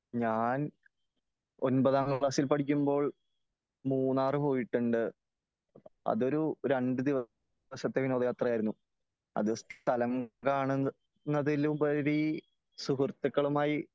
ഞാൻ ഒമ്പതാം ക്ലാസ്സിൽ പടിക്കുമ്പോൾ മൂന്നാറ് പോയിട്ടുണ്ട് . അത് ഒരു രണ്ട് ദിവസത്തെ വിനോദ യാത്രയായിരുന്നു . അത് സ്ഥലം കാണുന്നതിൽ ഉപരി സുഹൃത്തുക്കളുമായി